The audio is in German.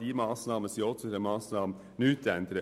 Ein Ja zu dieser Massnahme sollte nichts ändern.